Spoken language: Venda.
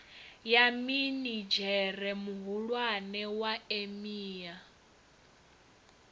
ya minidzhere muhulwane wa emia